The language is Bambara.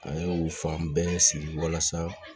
A ye u fan bɛɛ sigi walasa